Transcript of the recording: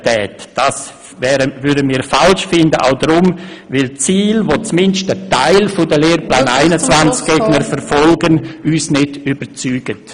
Das fänden wir auch deshalb falsch, weil uns die Ziele, die zumindest ein Teil der Lehrplan-21-Gegner verfolgt, nicht überzeugen.